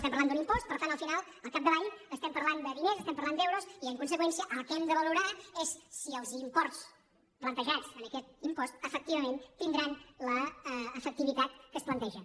estem parlant d’un impost per tant al final al capdavall estem parlant de diners estem parlant d’euros i en conseqüència el que hem de valorar és si els imports plantejats en aquest impost efectivament tindran l’efectivitat que es planteja